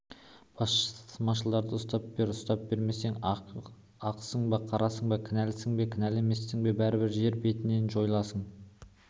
басмашыларды ұстап бер ұстап бермесең ақсың ба қарасың ба кінәлісің бе кінәлі емессің бе бәрібір жер бетінен жойыласың